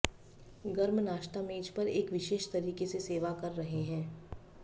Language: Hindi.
गर्म नाश्ता मेज पर एक विशेष तरीके से सेवा कर रहे हैं